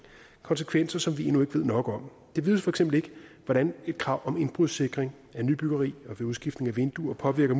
konsekvenser som vi endnu ikke ved nok om det vides for eksempel ikke hvordan et krav om indbrudssikring af nybyggeri og ved udskiftning af vinduer påvirker